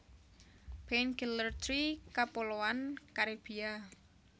Painkiller tree Kapuloan Karibia